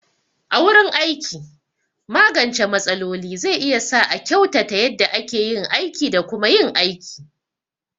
A wurin aiki, magance matsaloli zai iya sa a kyautata yadda ake yin aiki da kuma yin aiki.